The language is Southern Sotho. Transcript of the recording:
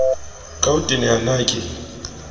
ka ho teneha na ke